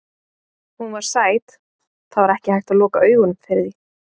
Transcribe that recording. Hún var sæt, það var ekki hægt að loka augunum fyrir því.